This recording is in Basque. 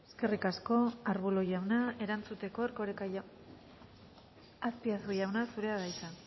eskerrik asko ruiz de arbulo erantzuteko erkoreka azpiazu jauna zurea da hitza